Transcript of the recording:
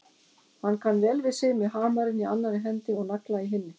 Hann kann vel við sig með hamarinn í annarri hendi og nagla í hinni.